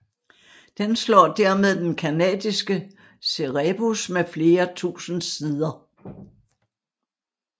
Den slår dermed den canadiske Cerebus med flere tusind sider